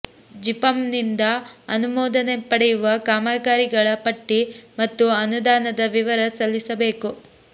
ಜಿಪಂನಿಂದ ಅನುಮೋದನೆ ಪಡೆಯುವ ಕಾಮಗಾರಿಗಳ ಪಟ್ಟಿ ಮತ್ತು ಅನುದಾನದ ವಿವರ ಸಲ್ಲಿಸಬೇಕು